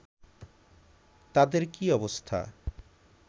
তাদের কি অবস্থা